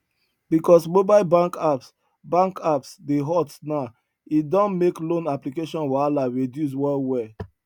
because mobile bank apps bank apps dey hot now e don make loan application wahala reduce well well